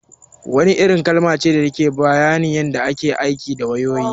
Wairin kalma ce da take bayani akan yin aiki da wayoyi